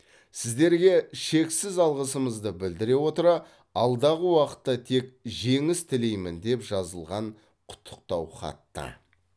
сіздерге шексіз алғысымызды білдіре отыра алдағы уақытта тек жеңіс тілеймін деп жазылған құттықтау хатта